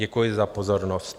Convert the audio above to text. Děkuji za pozornost.